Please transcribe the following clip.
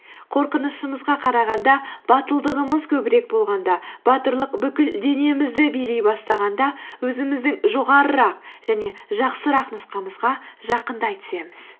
қорқынышымызға қарағанда батылдығымыз көбірек болғанда батырлық бүкіл денемізді билей бастағанда өзіміздің жоғарырақ және жақсырақ нұсқамызға жақындай түсеміз